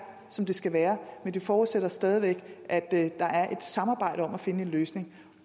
som det skal være men det forudsætter stadig væk at der er et samarbejde om at finde en løsning